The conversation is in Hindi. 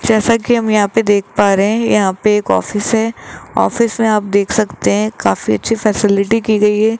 जैसा कि हम यहां पे देख पा रहे हैं यहां पे एक ऑफिस है ऑफिस में आप देख सकते हैं काफी अच्छी फैसिलिटी की गई है।